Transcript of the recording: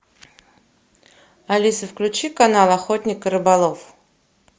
алиса включи канал охотник и рыболов